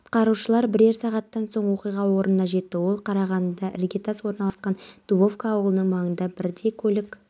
осы уақыт ішінде абылайдың үстінен екі тікұшақ пен теңізде браконьерлердің бар-жоғын тексеретін кеме жүзіп өткен алайда